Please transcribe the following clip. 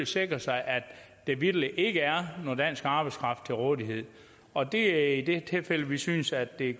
sikre sig at der vitterlig ikke er noget dansk arbejdskraft til rådighed og det er i de tilfælde at vi synes at det